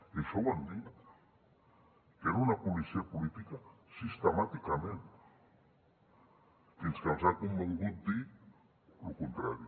i això ho han dit que era una policia política sistemàticament fins que els ha convingut dir el contrari